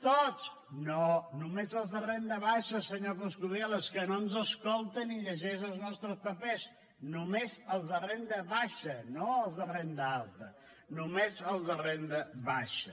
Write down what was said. tots no només els de renda baixa senyor coscubiela és que no ens escolta ni llegeix els nostres papers només els de renda baixa no els de renda alta només els de renda baixa